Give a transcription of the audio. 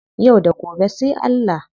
Yau da gobe sai Allah.